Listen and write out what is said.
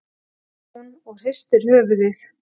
segir hún og hristir höfuðið.